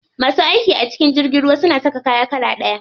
Masu aiki a cikin jirgin ruwa suna saka kaya iri ɗaya.